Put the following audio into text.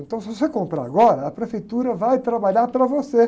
Então, se você comprar agora, a prefeitura vai trabalhar para você.